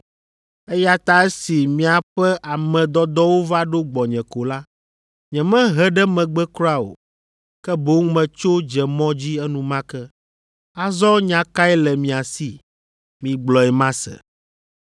Eya ta esi miaƒe ame dɔdɔwo va ɖo gbɔnye ko la, nyemehe ɖe megbe kura o, ke boŋ metso dze mɔ dzi enumake. Azɔ nya kae le mia si? Migblɔe mase.”